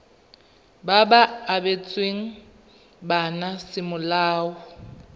ba ba abetsweng bana semolao